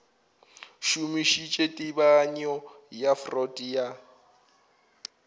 šomišitše tebanyo ya freud ya